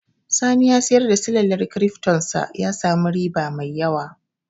Sani ya siyar da silalar kirifton sa ya sami riba mai yawa